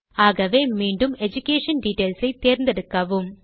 ஆகவே மீண்டும் education details ஐ தேர்ந்தெடுக்கவும்